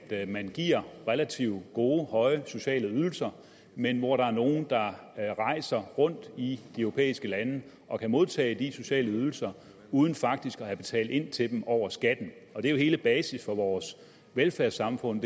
man giver relativt gode høje sociale ydelser men hvor der er nogle der rejser rundt i de europæiske lande og kan modtage de sociale ydelser uden faktisk at have betalt ind til dem over skatten og det er jo hele basis for vores velfærdssamfund